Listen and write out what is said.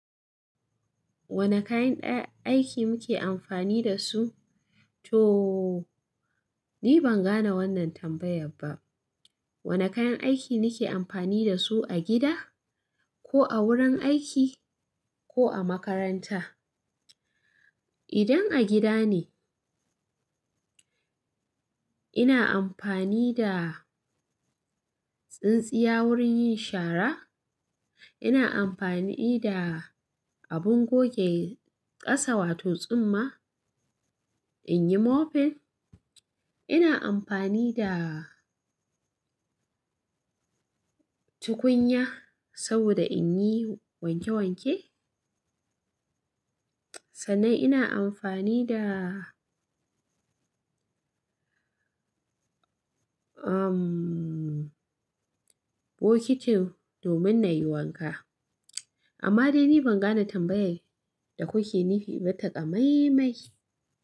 Wane kayan ɗa aiki muke amfani da su? Tooo, ni ban gane wannan tambayar ba. Wane kayan aiki nake amfani da su a gida ko a wurin aiki ko a makaranta? Idan a gida ne, ina amfani da tsintsiya wurin yin shara. Ina amfani da abin goge ƙasa wato tsumma in yi mopping. Ina amfani da tukunya saboda in yi wanke wanke. Sannan ina amfani da, umm, bokitin domin na yi wanka. Amma dai ni ban gane tambayar da kuke nufi ba ta ƙamai mai.